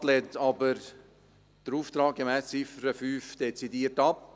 Den Auftrag gemäss Ziffer 5 lehnt der Regierungsrat aber dezidiert ab.